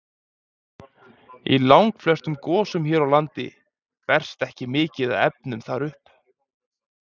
Í langflestum gosum hér á landi berst ekki mikið af efnum þar upp.